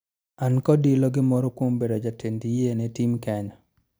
An kod ilo gi moro kuom bedo jatend yie ne tim Kenya